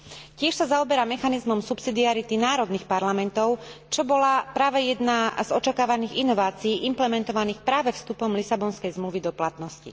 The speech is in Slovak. Tiež sa zaoberá mechanizmom subsidiarity národných parlamentov, čo bola práve jedna z očakávaných inovácií implementovaných práve vstupom Lisabonskej zmluvy do platnosti.